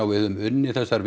við höfum unnið þessar